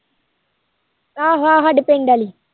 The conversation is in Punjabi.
ਆਹੋ ਆਹੋ ਸਾਡੇ ਪਿੰਡ ਆਲੀ